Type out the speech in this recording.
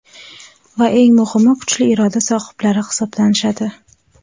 va eng muhimi kuchli iroda sohiblari hisoblanishadi.